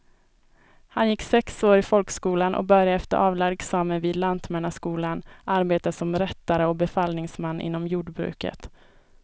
Han gick sex år i folkskolan och började efter avlagd examen vid lantmannaskolan arbeta som rättare och befallningsman inom jordbruket.